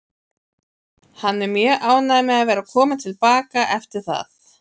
Hann er mjög ánægður með að vera kominn til baka eftir það.